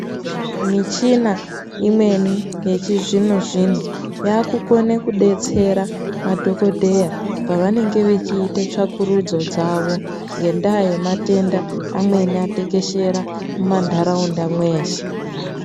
Michina imweni yechizvino zvino yaakukone kudetsera madhokodheya pavanenge vachiita tsvakurudzo dzavo ngendaa yematenda amweni atekeshera mumantharaunda mweshe.